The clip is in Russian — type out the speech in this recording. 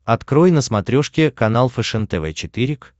открой на смотрешке канал фэшен тв четыре к